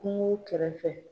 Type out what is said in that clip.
Kungo kɛrɛfɛ.